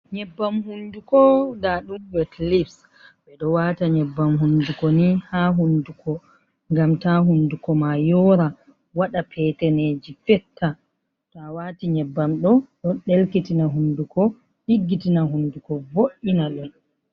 Nƴebbam hunduko da dum wet lips bedo wata nyebbam hunduko ni ha hunduko gam ta hunduko ma yora, wada peteneji, fetta to a wati nyebbam do do delkitina hunɗuko, diggitina hunduko, vo’’ina, dum.